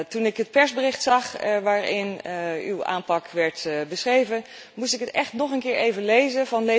Toen ik het persbericht zag waarin uw aanpak werd beschreven, moest ik het echt nog een keer lezen.